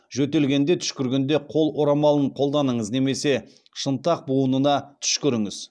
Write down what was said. жөтелгенде түшкіргенде қол орамалын қолданыңыз немесе шынтақ буынына түшкіріңіз